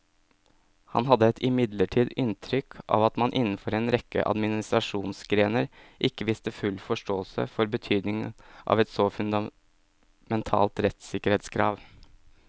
Han hadde imidlertid inntrykk av at man innenfor en rekke administrasjonsgrener ikke viste full forståelse for betydningen av et så fundamentalt rettssikkerhetskrav.